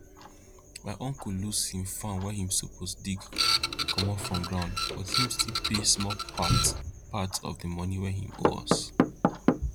my uncle loss him farm wey him suppose dig comot from ground but him still pay small part part of the money wey him owe as